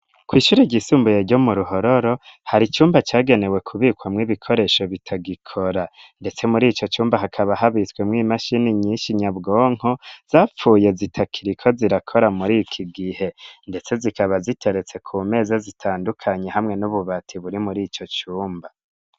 Kwishure ryisumbuye ryo mu ruhororo hari icumba cagenewe kubikwamwo ibikoresho bitagikora ndetse muri ico cumba hakaba habitswe mu'imashini nyinshi nyabwonko zapfuye zitakiriko zirakora muri iki gihe ndetse zikaba ziteretse ku meze zitandukanye hamwe n'ububati buri muri ico cumba.